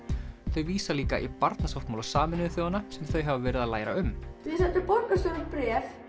þau vísa líka í barnasáttmála Sameinuðu þjóðanna sem þau hafa verið að læra um þið sendur borgarstjóra bréf